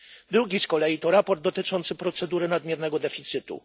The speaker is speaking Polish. Drugie z kolei to sprawozdanie dotyczące procedury nadmiernego deficytu.